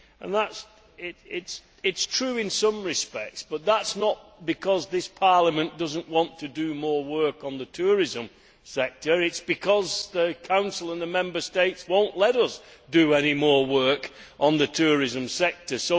This is true in some respects, but it is not because this Parliament does not want to do more work on the tourism sector it is because the Council and the Member States will not let us do any more work on the tourism sector.